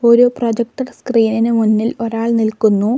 ഒരു പ്രോജക്റ്റർ സ്ക്രീൻ ഇനു മുന്നിൽ ഒരാൾ നിൽക്കുന്നു.